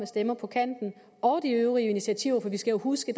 stemmer på kanten og de øvrige initiativer for vi skal jo huske